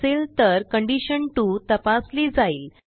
नसेल तर कंडिशन 2 तपासली जाईल